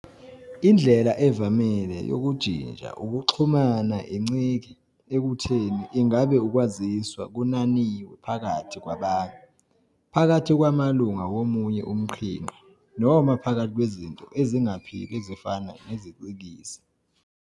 Indlela evamile yokujinja ukuxhumana incike ekutheni ingabe ukwaziswa kunananiwe phakathi kwabantu, phakathi kwamalunga womunye umqhinqa, noma phakathi kwezinto ezingaphili ezifana nezicikizi.